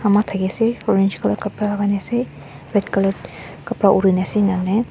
ma thake ase orange colour kapra lagai na ase red colour kapra uri na ase nane--